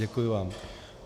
Děkuji vám.